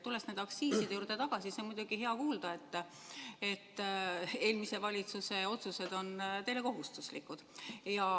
Tulles nende aktsiiside juurde tagasi, siis on muidugi hea kuulda, et eelmise valitsuse otsused on teile kohustuslikud.